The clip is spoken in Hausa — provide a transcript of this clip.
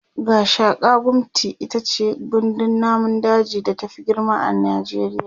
Gashaka-gumti itace gandun namun daji da ta Fi girma a najeriya